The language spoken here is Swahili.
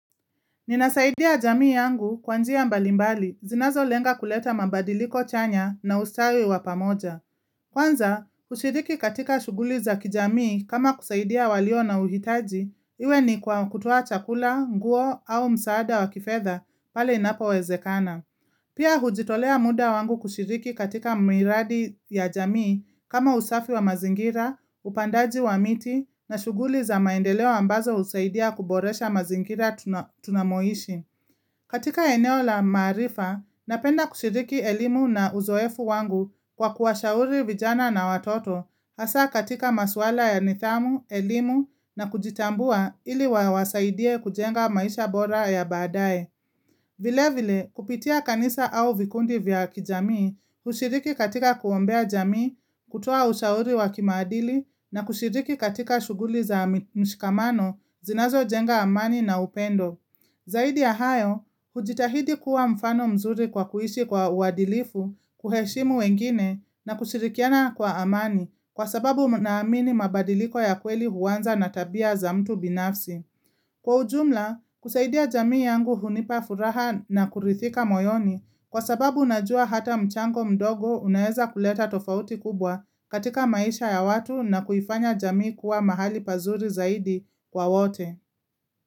Ninasaidia jamii yangu kwanjia mbalimbali, zinazo lenga kuleta mabadiliko chanya na ustawi wapamoja. Kwanza, ushiriki katika shughuli za kijamii kama kusaidia walio na uhitaji, iwe ni kutoa chakula, nguo au msaada wa kifetha pale inapo wezekana. Pia hujitolea muda wangu kushiriki katika miradi ya jamii kama usafi wa mazingira, upandaji wa miti na shughuli za maendeleo ambazo usaidia kuboresha mazingira tunamoishi. Katika eneo la maarifa, napenda kushiriki elimu na uzoefu wangu kwa kuwashauri vijana na watoto hasa katika maswala ya nithamu, elimu na kujitambua ili wawasaidie kujenga maisha bora ya baadae. Vile vile, kupitia kanisa au vikundi vya kijamii, kushiriki katika kuombea jamii, kutoa ushauri wakimaadili, na kushiriki katika shughuli za mshikamano, zinazo jenga amani na upendo. Zaidi ya hayo, hujitahidi kuwa mfano mzuri kwa kuishi kwa uandilifu, kuheshimu wengine, na kushirikiana kwa amani, kwa sababu na amini mabadiliko ya kweli huanza na tabia za mtu binafsi. Kwa ujumla, kusaidia jamii yangu hunipa furaha na kurithika moyoni kwa sababu najua hata mchango mdogo unaeza kuleta tofauti kubwa katika maisha ya watu na kuifanya jamii kuwa mahali pazuri zaidi kwa wote.